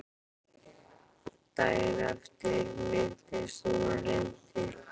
Daginn eftir minntist hún á Lindu.